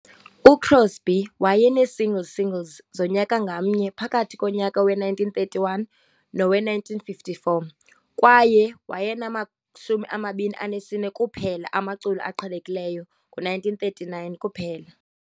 UCrosby wayenee-single singles zonyaka ngamnye phakathi konyaka we-1931 nowe-1954, kwaye wayenama-24 kuphela amaculo aqhelekileyo ngo-1939 kuphela.